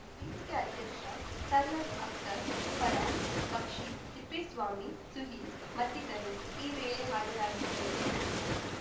ವೇದಿಕೆ ಅಧ್ಯಕ್ಷ ಸೈಯದ್‌ ಅಕ್ತರ್‌ ಫರಾನ್‌ ಬಕ್ಷಿ ತಿಪ್ಪೇಸ್ವಾಮಿ ಸುಹಿಲ್‌ ಮತ್ತಿತರು ಈ ವೇಳೆ ಹಾಜರಾಗಿದ್ದರು